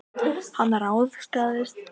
Hann ráðskaðist alltof mikið með mig.